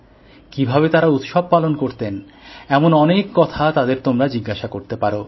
কিভাবে তারা উৎসব পালন করতেন এমন অনেক কথা তাদের তোমরা জিজ্ঞাসা করতে পারো